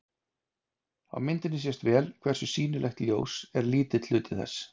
Á myndinni sést vel hversu sýnilegt ljós er lítill hluti þess.